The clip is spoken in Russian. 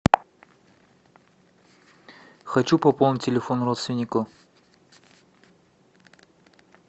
хочу пополнить телефон родственнику